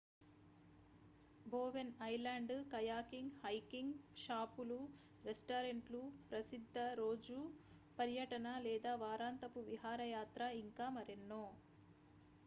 Bowen island kayaking hiking షాపులు రెస్టారెంట్లు ప్రసిద్ధ రోజు పర్యటన లేదా వారాంతపు విహారయాత్ర ఇంకా మరెన్నో